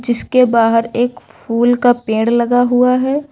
जिसके बाहर एक फूल का पेड़ लगा हुआ है।